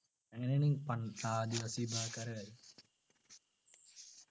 അങ്ങനെയാണീ പണ്ട് ആദിവാസി വിഭാഗക്കാരെ